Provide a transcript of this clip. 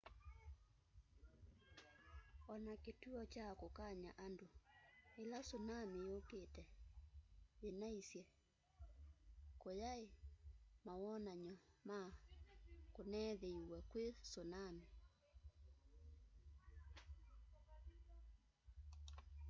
ona kituo kya kukany'a andu ila tsunami yukite yinaisye kutyai manowanany'o ma kuneethiiwe kwi tsunami